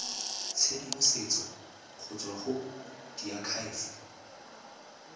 tshedimosetso go tswa go diakhaefe